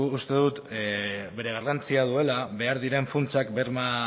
uste dugu bere garrantzia duela behar diren funtsak berma